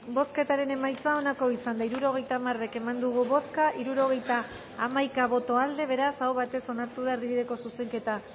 bozketaren emaitza onako izan da hirurogeita hamaika eman dugu bozka hirurogeita hamaika boto aldekoa beraz aho batez onartu da erdibideko zuzenketa